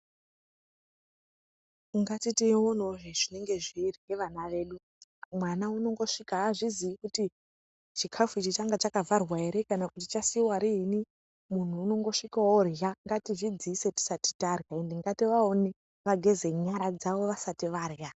Ngatiiteonawo zvinenge zviri nevana vedu. Mwana unongosvika haazvizii kuti chikafu ichi changa chakavharwa here kana kuti chasiiwa riini. Munhu unongosvika orya, ngatizvidziise tisati tarya. Ende ngativaone, vageze nyara dzavo vasati varya.